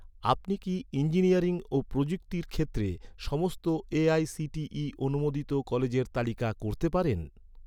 আপনি কি, ইঞ্জিনিয়ারিং ও প্রযুক্তি ক্ষেত্রের সমস্ত এ.আই.সি.টি.ই অনুমোদিত কলেজের তালিকা করতে পারেন?